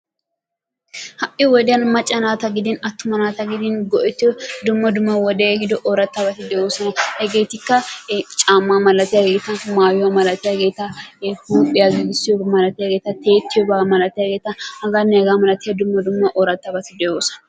Ha'i wodiyan macca naata gidin attuma nata gidin go'ettiyo dumma dumma wodee ehido oorattabati de'oosona. Hegeetikka caammaa malatiyageeta, mayuwa malatiyageeta, huuphiya giigissiyoba malatiyageeta, tiyettiyoba malatiyageeta hagaanne hagaa malatiya dumma dumma oorattabati de'oosona.